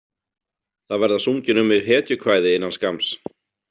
Það verða sungin um mig hetjukvæði innan skamms.